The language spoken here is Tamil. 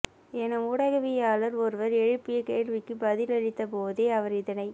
என ஊடகவியலாளர் ஒருவர் எழுப்பிய கேள்விக்கு பதிலளித்த போதே அவர் இதனைத்